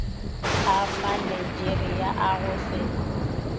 a manigeria a go se